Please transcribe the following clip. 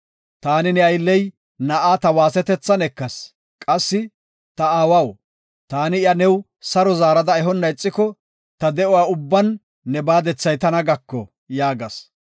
Taani ne aylley na7aa ta waasetethan ekas. Qassi, ‘Ta aawaw, taani iya new saro zaarada ehonna ixiko ta de7uwa ubban ne baadethay tana gako’ yaagas.